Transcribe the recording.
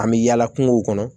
An bɛ yaala kungo kɔnɔ